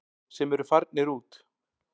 Sem eru farnir út.